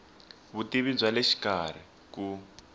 vutivi bya le xikarhi ku